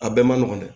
A bɛɛ man nɔgɔn dɛ